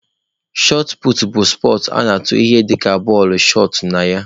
Shọt puutu bụ spọtsụ a na-atụ ihe dịka bọọlụ(shọt) na ya.